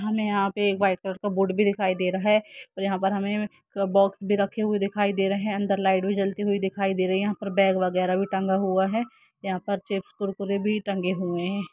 हमे यहाँ पे एक वाइट कलर का बोर्ड भी दिखाई दे रहा है और यहाँ पर हमें एक बॉक्स भी रखे हुए दिखाई दे रहे है अंदर लाइट भी जलती हुई दिखाई दे रही है यहाॅं पर बैग वगेरा भी टंगा हुआ है यहाॅं पर चिप्स-कुरकुरे भी टंगे हुए है।